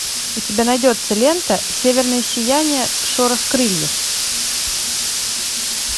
у тебя найдется лента северное сияние шорох крыльев